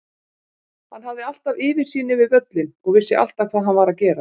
Hann hafði alltaf yfirsýn yfir völlinn og vissi alltaf hvað hann var að gera.